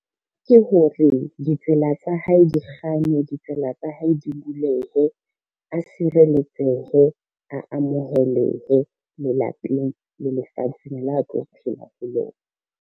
Ke hore ditsela tsa hae di kganye, ditsela tsa hae di bulehe, a sireletsehe, a amohelehe lelapeng le lefatsheng la a tlo phela ho lona.